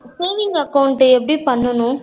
saving account எப்டி பண்ணணும்?